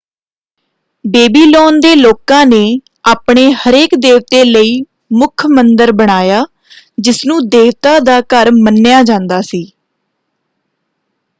Babylon ਦੇ ਲੋਕਾਂ ਨੇ ਆਪਣੇ ਹਰੇਕ ਦੇਵਤੇ ਲਈ ਮੁੱਖ ਮੰਦਰ ਬਣਾਇਆ ਜਿਸ ਨੂੰ ਦੇਵਤਾ ਦਾ ਘਰ ਮੰਨਿਆ ਜਾਂਦਾ ਸੀ।